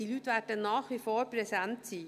Diese Leute werden nach wie vor präsent sein.